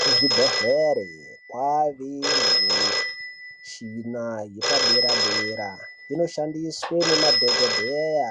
Kuzvibhedhlere kwaane nemishina yepadera dera inoshandiswe ngemadhokodheya